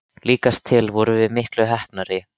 Líkast til vorum við miklu heppnari.